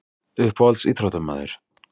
Uppáhalds íþróttamaður?